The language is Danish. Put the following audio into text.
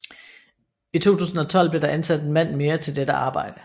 I 2012 blev der ansat en mand mere til dette arbejde